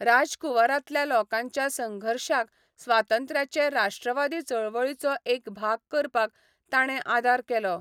राजकुंवरांतल्या लोकांच्या संघर्शाक स्वातंत्र्याचे राश्ट्रवादी चळवळीचो एक भाग करपाक ताणें आदार केलो.